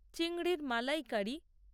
চিংড়ির মালাইকারি